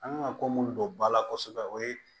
An kan ka ko mun don ba la kosɛbɛ o ye